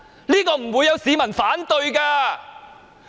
這様做不會有市民反對。